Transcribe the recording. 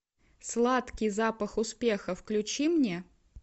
сладкий запах успеха включи мне